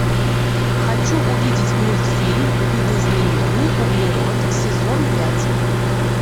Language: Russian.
хочу увидеть мультфильм видоизмененный углерод сезон пять